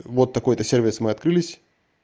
вот такой-то сервис мы открылись